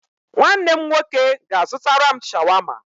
Nwanne m nwoke ga-azụtara m Shawama.